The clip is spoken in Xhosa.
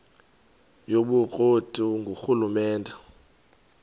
yobukro ti ngurhulumente